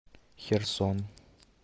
херсон